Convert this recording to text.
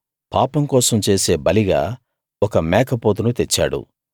పాపం కోసం చేసే బలిగా ఒక మేకపోతును తెచ్చాడు